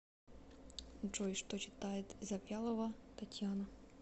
джой что читает завьялова татьяна